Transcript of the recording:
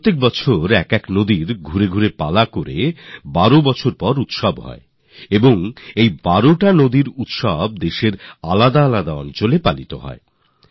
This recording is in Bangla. প্রতি বছর একটি নদীতে অর্থাৎ সেই নদীতে আবার ১২ বছর পর উৎসব হবে আর এই উৎসব দেশের আলাদা আলাদা প্রান্তের ১২টি নদীতে উদযাপিত হয়